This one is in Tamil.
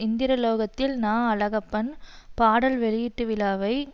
இந்திரலோகத்தில் நா அழகப்பன் பாடல் வெளியீட்டு விழாவை